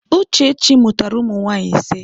Uchechi mụtara ụmụ nwaanyị ise.